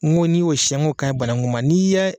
N ko n'i y'o siyɛn n ko ka ɲi banagun ma n'i ye